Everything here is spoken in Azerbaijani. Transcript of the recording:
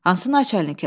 Hansı naçalnikə?